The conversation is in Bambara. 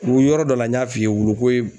Wulu yɔrɔ dɔ la n y'a f'i ye wuluko ye